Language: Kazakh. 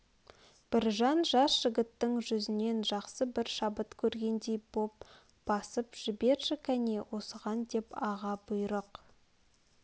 біржан жас жігіттің жүзнен жақсы бір шабыт көргендей боп басып жіберші кәне осыған деп аға бұйрық